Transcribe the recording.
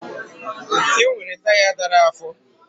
Enwere taya dara afọ